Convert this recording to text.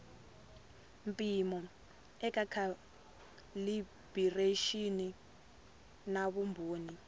mpimo eka calibiraxini na vumbhoni